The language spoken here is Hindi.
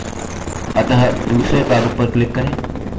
अतः दूसरे प्रारूप पर click करें